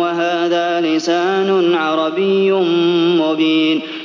وَهَٰذَا لِسَانٌ عَرَبِيٌّ مُّبِينٌ